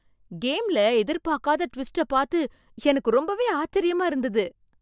கேம்ல எதிர்பார்க்காத டுவிஸ்ட பாத்து எனக்கு ரொம்பவே ஆச்சரியமா இருந்துது.